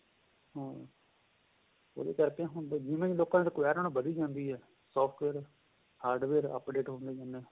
ਹਾਂਜੀ ਉਹਦੇ ਕਰਕੇ ਜਿਵੇਂ ਹੁਣ requirement ਵਧੀ ਜਾਂਦੀ ਏ software hardware updated ਹੁੰਦੇ ਜਾਂਦੇ ਹਨ